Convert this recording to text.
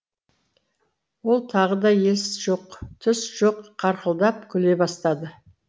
ол тағы да ес жоқ түс жоқ қарқылдап күле бастады